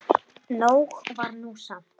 Nóg var nú samt.